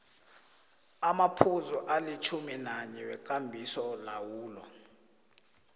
amaphuzu alitjhuminanye wekambisolawulo